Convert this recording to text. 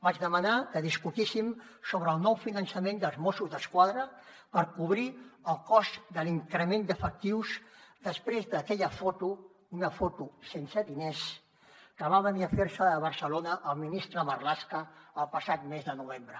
vaig demanar que discutíssim sobre el nou finançament dels mossos d’esquadra per cobrir el cost de l’increment d’efectius després d’aquella foto una foto sense diners que va venir a fer se a barcelona el ministre marlaska el passat mes de novembre